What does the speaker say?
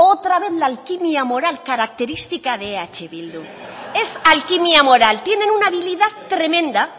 otra vez la alquimia moral características de eh bildu es alquimia moral tienen una habilidad tremenda